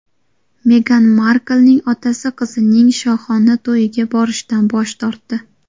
Megan Marklning otasi qizining shohona to‘yiga borishdan bosh tortdi.